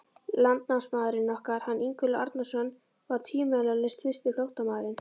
Landnámsmaðurinn okkar, hann Ingólfur Arnarson, var tvímælalaust fyrsti flóttamaðurinn.